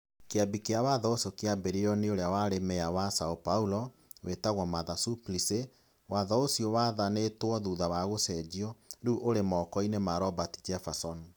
Kĩambi kĩa watho ũcio kĩambĩrĩirio nĩ ũrĩa warĩ meya wa São Paulo, wĩtagwo Marta Suplicy. Watho ũcio wathanĩtwo, thutha wa gũcenjio, rĩu ũrĩ moko-inĩ ma Roberto Jefferson.